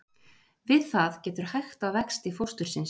Við það getur hægt á vexti fóstursins.